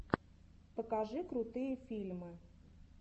покажи крутые фильмы